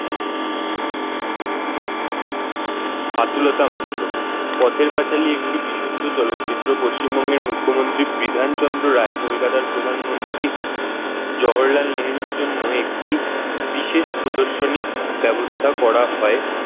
বাতুলতা মাত্র পথের পাঁচালী একটি বিশুদ্ধ চলচ্চিত্র পশ্চিমবঙ্গের মুখ্যমন্ত্রী বিধান চন্দ্র রায় কলকাতার প্রধানমন্ত্রী জওহরলাল নেহেরুর জন্য একটি বিশেষ প্রদর্শনীর ব্যবস্থা করা হয়।